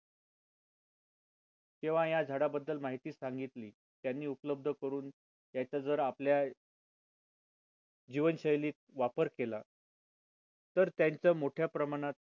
तेव्हा या झाडा बद्दल माहिती सांगितली त्यांनी उपलब्ध करून त्याच्या जर आपल्या जीवनशैलीत वापर केला तर त्यांचं मोठ्या प्रमाणात